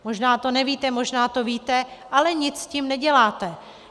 Možná to nevíte, možná to víte, ale nic s tím neděláte.